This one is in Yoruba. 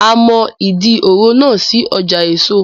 A mọ Ìdí òro náà sí ọjà èso